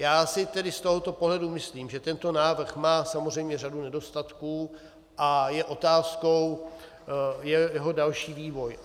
Já si tedy z tohoto pohledu myslím, že tento návrh má samozřejmě řadu nedostatků a je otázkou jeho další vývoj.